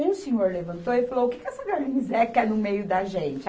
E um senhor levantou e falou, o que que essa garnisé quer no meio da gente?